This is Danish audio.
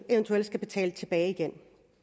eventuelt skal betale tilbage igen